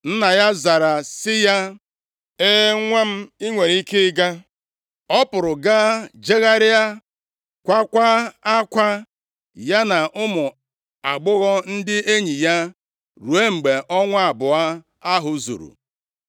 Nna ya zara sị ya, “E, nwa m, i nwere ike ịga.” Ọ pụrụ gaa, jegharịa, kwaakwa akwa, ya na ụmụ agbọghọ ndị enyi ya, ruo mgbe ọnwa abụọ ahụ zuru.